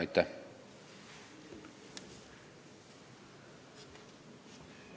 Aitäh!